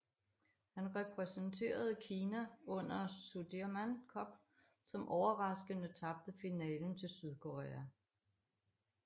Han repræsenterede Kina under Sudirman Cup som overraskende tabte finalen til Sydkorea